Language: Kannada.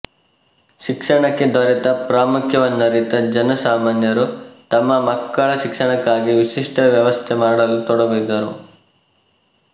ಶಿಕ್ಷಣಕ್ಕೆ ದೊರೆತ ಪ್ರಾಮುಖ್ಯವನ್ನರಿತ ಜನಸಾಮಾನ್ಯರು ತಮ್ಮ ಮಕ್ಕಳ ಶಿಕ್ಷಣಕ್ಕಾಗಿ ವಿಶಿಷ್ಟ ವ್ಯವಸ್ಥೆ ಮಾಡಲು ತೊಡಗಿದ್ದರು